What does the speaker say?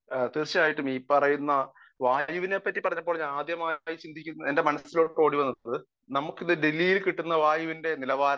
speaker 1 ആഹ് തീർച്ചയായിട്ടും ഈ വായുവിനെപ്പറ്റി പറഞ്ഞപ്പോൾ ഞാൻ ആദ്യമായി ചിന്തിക്കുമ്പോൾ എന്റെ മനസ്സിലേക്ക് ഓടിവന്നത് നമുക്ക് ഇന്ന് ഡൽഹിയിൽ കിട്ടുന്ന വായുവിന്റെ നിലവാരമാണ്